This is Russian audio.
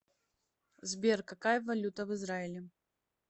сбер какая валюта в израиле